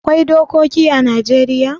Akwai dokoki ã Najeriya